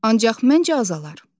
Ancaq məncə azalar.